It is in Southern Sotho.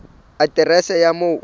aterese ya moo o dulang